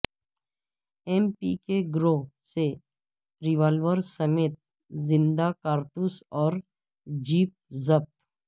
M P کے گروہ سے ریوالورسمیت زندہ کارتوس اور جیپ ضبط